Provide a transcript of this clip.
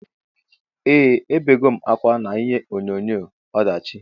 Eeh ebegom akwa na ihe onyonyo ọdachi.